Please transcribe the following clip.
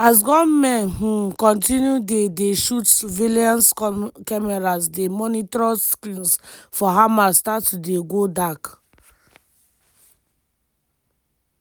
as gunmen um continue dey dey shoot surveillance cameras di monitoring screens for hamal start to dey go dark.